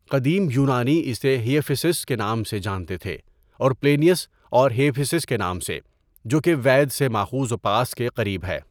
قدیم یونانی اسے ہئپھیسس کے نام سے جانتے تھے اور پلینئس اسے ہئپیسس کے نام سے، جو کہ وید سے ماخوذ وپاس کے قریب ہے۔